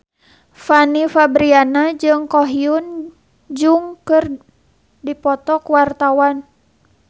Fanny Fabriana jeung Ko Hyun Jung keur dipoto ku wartawan